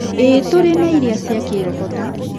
ĩĩ, tũrĩ na irĩa cia kĩroho ta: